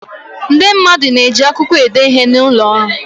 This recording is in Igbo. Ndị mmadụ na-eji akwụkwọ ede ihe n'ụlọ ọrụ.